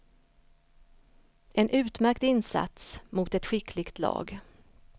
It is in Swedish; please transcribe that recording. En utmärkt insats mot ett skickligt lag.